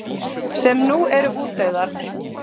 sem nú eru útdauðar.